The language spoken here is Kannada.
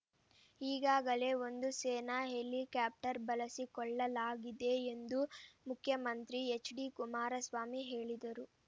ಹೀಗಾಗಲೇ ಒಂದು ಸೇನಾ ಹೆಲಿಕಾಪ್ಟರ್‌ ಬಳಸಿಕೊಳ್ಳಲಾಗಿದೆ ಎಂದು ಮುಖ್ಯಮಂತ್ರಿ ಎಚ್‌ಡಿಕುಮಾರಸ್ವಾಮಿ ಹೇಳಿದರು